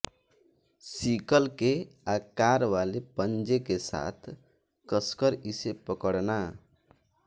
sickle के आकार वाले पंजे के साथ कसकर इसे पकड़ना